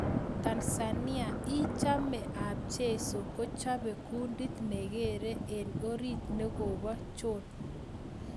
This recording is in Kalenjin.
Tanzania: Ing chamet ap Jeiso kochope kundit nekere eng orit nakopo John.